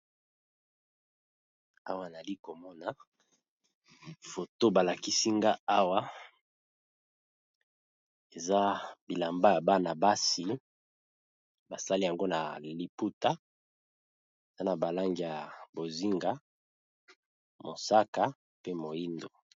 Awa nali komona foto ba lakisi nga awa eza bilamba ya bana basi, basali yango na liputa na na ba langi ya bozinga mosaka pe moyindo.